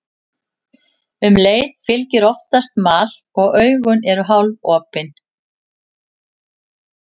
Um leið fylgir oftast mal og augun eru hálfopin.